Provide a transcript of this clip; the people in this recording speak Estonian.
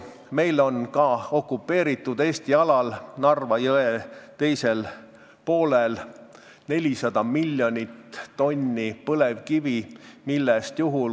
Meil on ka okupeeritud alal, Narva jõe teisel poolel, 400 miljonit tonni põlevkivi.